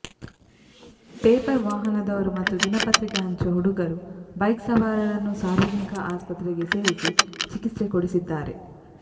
paper ವಾಹನದವರು ಮತ್ತು ದಿನಪತ್ರಿಕೆ ಹಂಚುವ ಹುಡುಗರು ಬೈಕ್ಸವಾರರನ್ನು ಸಾರ್ವಜನಿಕ ಆಸ್ಪತ್ರೆಗೆ ಸೇರಿಸಿ ಚಿಕಿತ್ಸೆ ಕೊಡಿಸಿದ್ದಾರೆ